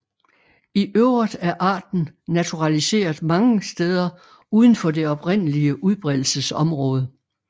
I øvrigt er arten naturaliseret mange steder uden for det oprindelige udbredelsesområde